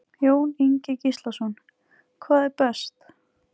Jón Ingi Gíslason: Hvað er best?